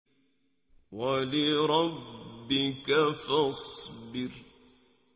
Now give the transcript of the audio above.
وَلِرَبِّكَ فَاصْبِرْ